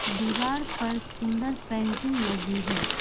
दीवार पर सुंदर पेंटिंग लगी है।